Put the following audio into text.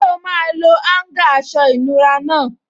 Ṣé o máa lo áúngà aṣọ ìnura náà?